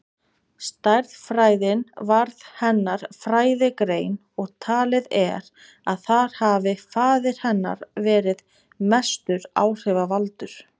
Stærðfræðin varð hennar fræðigrein og talið er að þar hafi faðir hennar verið mestur áhrifavaldur.